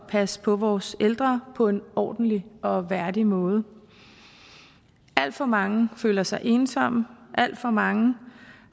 passe på vores ældre på en ordentlig og værdig måde alt for mange føler sig ensomme alt for mange